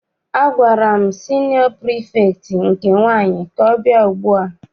Agwara m siniọ pirifektị nke nwaanyị ka ọ bịa ugbua!